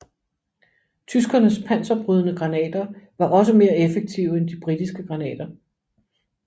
Tyskernes panserbrydende granater var også mere effektive end de britiske granater